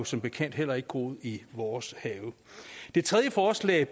som bekendt heller ikke groet i vores have det tredje forslag